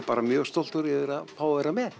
bara mjög stoltur yfir að fá að vera með